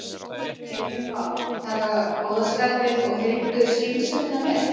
Heimir Már: Taka góða skapið og heilbrigðu skynsemina með?